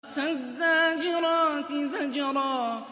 فَالزَّاجِرَاتِ زَجْرًا